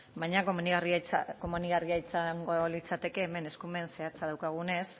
baina komenigarria izango litzateke hemen eskumen zehatza daukagunez